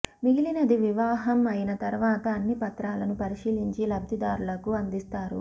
మిగిలినది వివాహం అయిన తర్వాత అన్ని పత్రాలను పరిశీలించి లబ్థిదారులకు అందిస్తారు